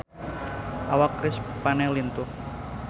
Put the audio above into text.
Awak Chris Pane lintuh